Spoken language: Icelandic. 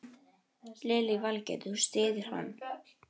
Hjördís: Og hvernig var, voru allir í þokkalegu ásigkomulagi?